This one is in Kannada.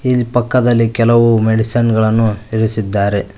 ಇಲ್ ಪಕ್ಕದಲ್ಲಿ ಕೆಲವು ಮೆಡಿಸನ್ ಗಳನ್ನು ಇರಿಸಿದ್ದಾರೆ.